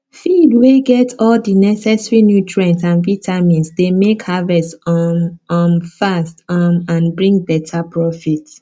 feed wey get all the neccesary nutrients and vitamins dey make harvest um um fast um and bring better profit